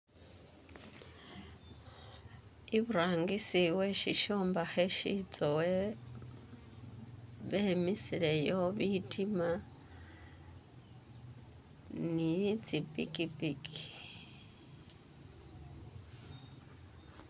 Iburangisi we shishombakhe shitsowe bemisileyo bitima ni tsi pikipiki.